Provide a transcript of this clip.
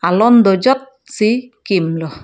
alon do jot si kim lo.